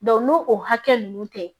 n'o o hakɛ ninnu tɛ